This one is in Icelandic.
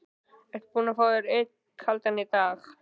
Ertu búinn að fá þér einn kaldan í dag?